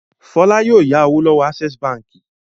Fọlá yóò ya owó lọ́wọ́ Access Báńkì.